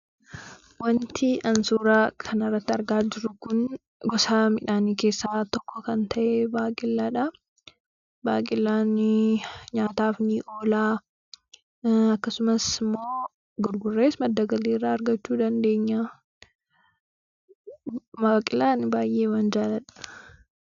Wanti suuraa kana irratti argaa jiru kun gosa midhaanii keessaa tokko kan ta'e baaqelaadha. Baaqelaan nyaataaf ni oola. Akkasumas immoo gurgurrees madda galii irraa argachuu dandeenya. Baaqelaa baay'eeman jaalladha.